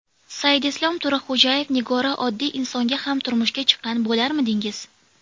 Saidislom Turahkujaev Nigora oddiy insonga ham turmushga chiqqan bo‘larmidingiz?